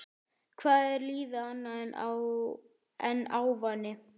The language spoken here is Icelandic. Hvað er lífið annað en ávani?